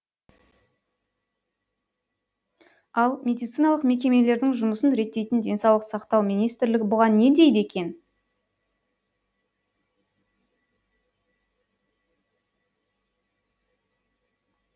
ал медициналық мекемелердің жұмысын реттейтін денсаулық сақтау министрлігі бұған не дейді екен